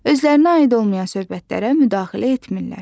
Özlərinə aid olmayan söhbətlərə müdaxilə etmirlər.